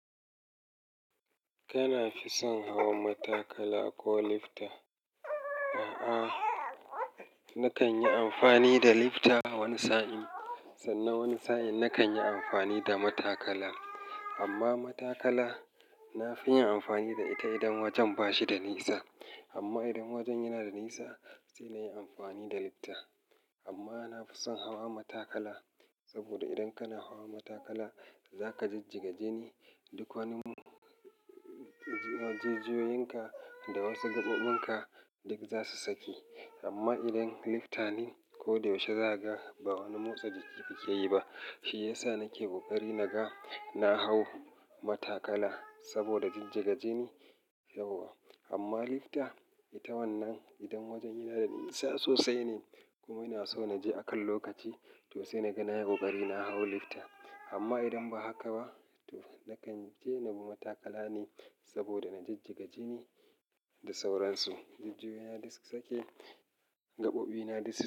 Kana fi son hawa matakala ko lifta? A'a, nakan yi amfani da lifta wani sa'in sannan wani sa'in nakan yi amfani da matakala. Amma matakala na fi yin amfani da ita idan wajen ba shi da nisa. Amma idan wajen yana da nisa, sai na yi amfani da lifta. Amma na fi son hawa matakala saboda idan kana hawa matakala za ka jijjiga jini, duk wani-- jijjiyoyin ka da wasu gaɓoɓin ka duk za su sake. Amma idan lifta ne ko da yaushe za ka ba wani motsa jiki kakeyi ba. Shi ya sa nake kokari naga na hau matakala saboda jijjiga jini yauwa. Amma lifta ita wannan idan wajen yana da nisa sosai ne kuma ina so na je akan lokaci, to sai naga na yi kokari na hau lifta. Amma idan ba haka ba to nakan je na bi matakala ne saboda na jijjiga jini da sauransu. Jijjiyoyi na duk su sake, gaɓoɓi na duk su-